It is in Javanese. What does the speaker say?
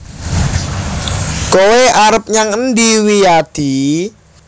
Kowe arep nyang endi Wiyadi